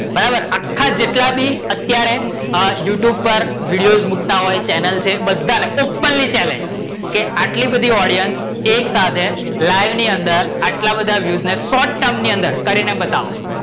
બરાબર, આખા જેટલા બી અત્યારે youtube પર વિડિઓઝ મુક્તા હોય ચેનલ છે બધા ને openly chellange છે કે આટલી બધી audience એક સાથે live ની અંદર આટલા બધા view ને shortteram ની અંદર કરી ને બતાવો